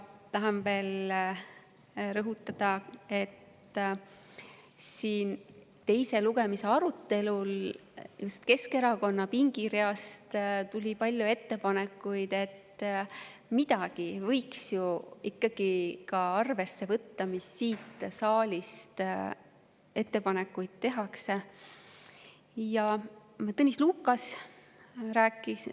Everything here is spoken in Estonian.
Tahan veel rõhutada, et teise lugemise arutelul tuli just siit Keskerakonna pingireast palju ette, et midagi võiks ju ikkagi ka arvesse võtta nendest, mida siit saalist tehakse.